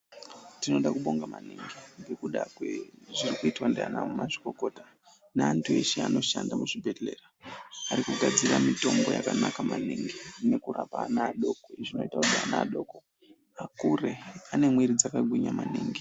Tinoda kubonga maningi ndakuda kwezvirokuitwa ndiana mazvikokota neantu eshe anoshanda muzvibhodhlera arikugadxira mitombo yakanaka maningi nekurapa ana adoko zvinoita kuti ana adoko akure ane mwiri dzakagwinya maningi.